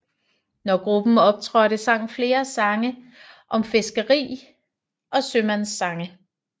Når gruppen optrådte sang flere sange om fiskeri og sømandssange